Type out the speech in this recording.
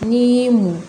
N'i y'i muɲu